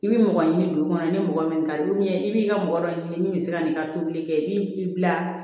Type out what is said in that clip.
I bɛ mɔgɔ ɲini dugu kɔnɔ ni mɔgɔ min kari i b'i ka mɔgɔ dɔ ɲini min bɛ se ka nin ka tobili kɛ i b'i bila